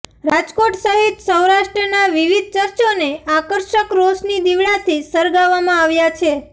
રાજકોટ સહિત સૌરાષ્ટ્રના વિવિધ ચર્ચોને આકર્ષક રોશની દિવડાંથી શરગારવામાં આવ્યા છે